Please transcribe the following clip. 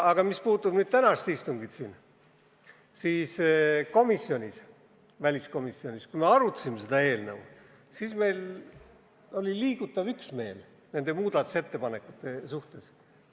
Aga mis puudutab tänast istungit, siis väliskomisjonis oli seda eelnõu arutades liigutav üksmeel nende muudatusettepanekute suhtes.